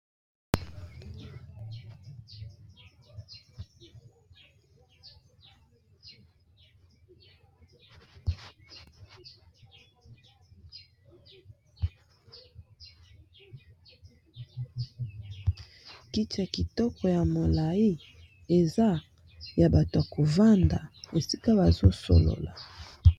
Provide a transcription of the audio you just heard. kiti ya kitoko ya molai eza ya bato ya kovanda esika bazosolola